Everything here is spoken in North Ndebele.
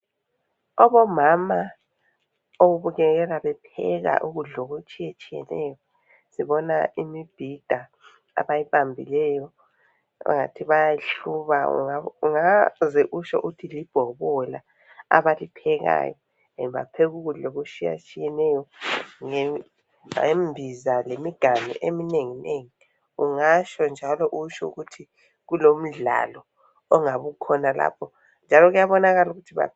Abomama ababukeka bepheka ukudlula okutshiye tshiyeneyo ngibona imibhida abayibambileyo abangathi bayayi hluba ungazo utsho uthi libhokola abaliphekayo bapheka ukudla okutshiye tshiyeneyo ngembiza lemiganu eminengi nengi ungatsho futhi usho ukuthi kulomdlalo ongabe ukhona lapho njalo kuyabonakala ukuthi ba